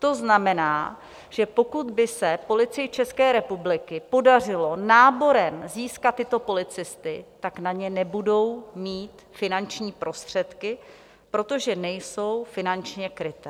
To znamená, že pokud by se Policii České republiky podařilo náborem získat tyto policisty, tak na ně nebudou mít finanční prostředky, protože nejsou finančně krytí.